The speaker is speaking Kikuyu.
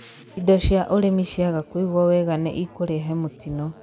indo cia ũrĩmi cĩaga kũĩgwo wega nĩ ĩkureha mũtino